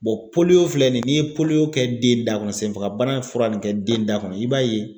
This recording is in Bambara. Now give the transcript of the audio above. filɛ nin ye kɛ den da kɔnɔ senfagabana fura ni kɛ den da kɔnɔ i b'a ye.